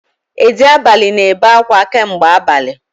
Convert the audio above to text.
Edi abalị na-ebe akwa kamgbe abali